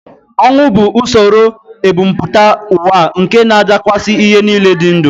Ọnwụ bụ usoro ebumpụta ụwa nke na-adakwasị ihe niile dị ndụ